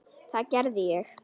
Það gerði ég.